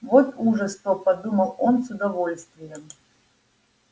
вот ужас то подумал он с удовольствием